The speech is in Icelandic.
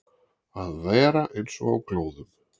Að vera eins og á glóðum